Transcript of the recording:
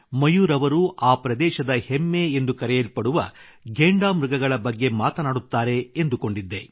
ಮಯೂರ್ ಅವರು ಆ ಪ್ರದೇಶದ ಹೆಮ್ಮೆ ಎಂದು ಕರೆಯಲ್ಪಡುವ ಘೇಂಡಾಮೃಗಗಳ ಬಗ್ಗೆ ಮಾತನಾಡುತ್ತಾರೆ ಎಂದುಕೊಂಡಿದ್ದೆ